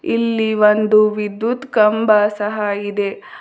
ಇಲ್ಲಿ ಒಂದು ವಿದ್ಯುತ್ ಕಂಬ ಸಹ ಇದೆ.